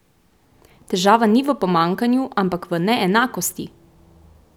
Težava ni v pomanjkanju, ampak v neenakosti!